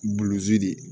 Bulon de ye